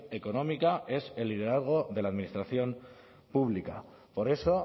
económica es el liderazgo de la administración pública por eso